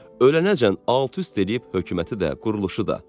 Ölənəcən alt-üst eləyib hökuməti də, quruluşu da.